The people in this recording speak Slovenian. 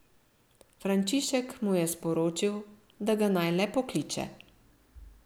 Frančišek mu je sporočil, da ga naj le pokliče.